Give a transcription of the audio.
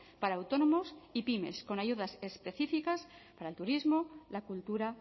para autónomos y pymes con ayudas específicas para el turismo la cultura